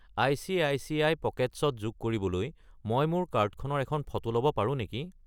ICICI. Pockets ত যোগ কৰিবলৈ মই মোৰ কাৰ্ডখনৰ এখন ফটো ল'ব পাৰোঁ নেকি?